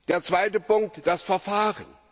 Der zweite Punkt das Verfahren.